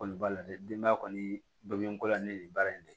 Kɔni b'a la dɛ denbaya kɔni ba bɛ n ko la ni nin baara in ne